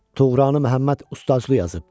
Tuğranı Məhəmməd ustacılı yazib.